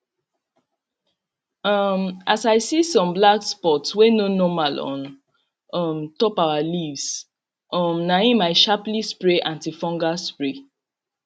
um as i see some black spots wey no normal on um top our leaves um na him i sharply spray antifungal spray